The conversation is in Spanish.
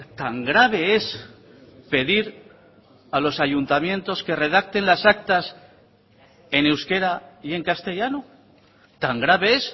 tan grave es pedir a los ayuntamientos que redacten las actas en euskera y en castellano tan grave es